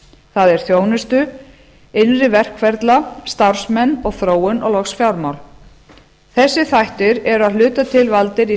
það er þjónustu innri verkferla starfsmenn og þróun og loks fjármál þessir þættir eru að hluta til valdir í